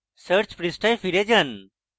search পৃষ্ঠায় ফিরে যান